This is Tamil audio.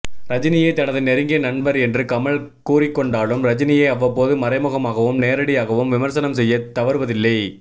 ரஜினியை தனது நெருங்கிய நண்பர் என்று கமல் கூறிக்கொண்டாலும் ரஜினியை அவ்வப்போது மறைமுகமாகவும் நேரடியாகவும் விமர்சனம் செய்ய தவறுவதில்லை